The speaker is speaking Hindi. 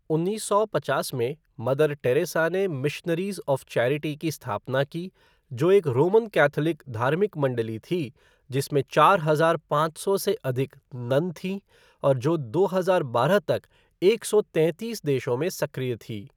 उन्नीस सौ पचास में, मदर टेरेसा ने मिशनरीज़ ऑफ़ चैरिटी की स्थापना की, जो एक रोमन कैथोलिक धार्मिक मण्डली थी जिसमें चार हजार पाँच सौ से अधिक नन थीं और जो दो हजार बारह तक एक सौ तैंतीस देशों में सक्रिय थी।